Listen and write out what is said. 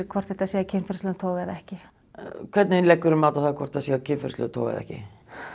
hvort þetta sé af kynferðislegum toga eða ekki hvernig leggurðu mat á það hvort það er af kynferðislegum toga eða ekki